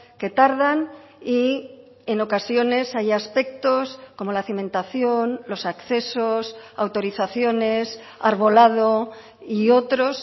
que tardan y en ocasiones hay aspectos como la cimentación los accesos autorizaciones arbolado y otros